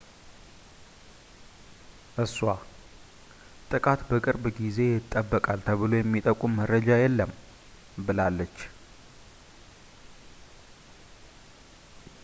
እሷ ጥቃት በቅርብ ጊዜ ይጠበቃል ተብሎ የሚጠቁም መረጃ የለም ብላለች